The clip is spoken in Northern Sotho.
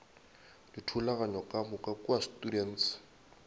dithulaganyo ka moka kua students